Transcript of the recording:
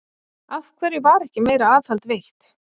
Af hverju var ekki meira aðhald veitt?